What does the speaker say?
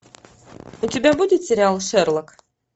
у тебя будет сериал шерлок